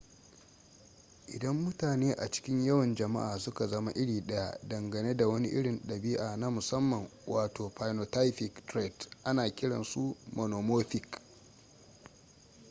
idan mutane a cikin yawan jama'a suka zama iri daya dangane da wani irin dabi'a na musamman wato phynotypic trait ana kiran su monomorphic